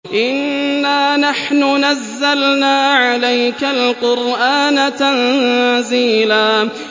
إِنَّا نَحْنُ نَزَّلْنَا عَلَيْكَ الْقُرْآنَ تَنزِيلًا